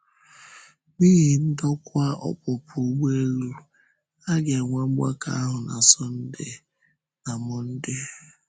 N’ihi ndòkwa ọpụpụ ụgbọelu, a ga-enwe mgbakọ ahụ na Sọnde na Mọnde.